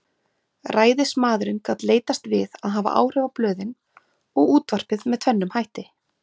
Ræðismaðurinn gat leitast við að hafa áhrif á blöðin og útvarpið með tvennum hætti.